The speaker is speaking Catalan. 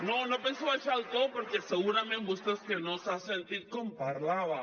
no no penso baixar el to perquè segurament vostè és que no s’ha sentit com parlava